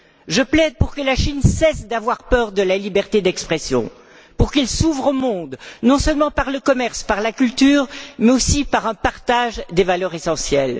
Je plaide pour que la Chine cesse d'avoir peur de la liberté d'expression, pour qu'elle s'ouvre au monde, non seulement par le commerce, par la culture, mais aussi par un partage des valeurs essentielles.